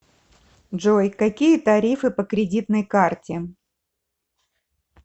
джой какие тарифы по кредитной карте